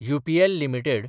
UPL limited